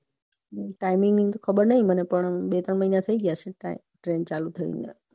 timing ની ખબર નહિ મને પણ બે ત્રણ મહિના થય ગયા હઈસે